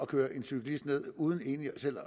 køre en cyklist ned uden egentlig selv